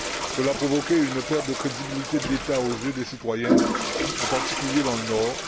Cela a provoqué une perte de crédibilité de l'État aux yeux des citoyens, en particulier dans le nord.